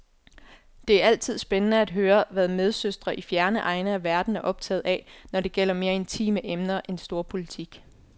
Det er altid spændende at høre, hvad medsøstre i fjerne egne af verden er optaget af, når det gælder mere intime emner end storpolitik.